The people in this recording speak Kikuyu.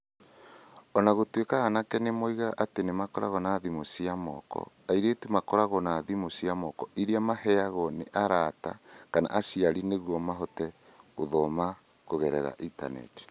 O na gũtuĩka anake nĩ moigaga atĩ nĩ makoragwo na thimũ cia moko, airĩtu makoragwo na thimũ cia moko iria maheagwo nĩ arata kana aciari nĩguo mahote gũthoma kũgerera ĩntaneti.